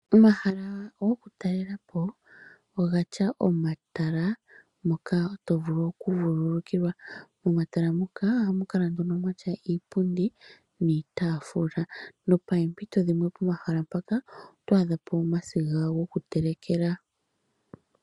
Omahala gokutalela po ogatya omatala moka tovulu okuvululukilwa, momatala muka ohamu kala nduno mwatya iipundi niitafula nopempito dhimwe pomahala mpaka oto adha po omasiga gokutelekela.